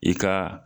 I ka